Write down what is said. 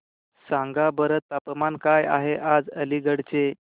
सांगा बरं तापमान काय आहे आज अलिगढ चे